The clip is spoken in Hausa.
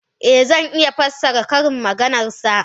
Eh, zan iya fassara ƙarin maganar sa.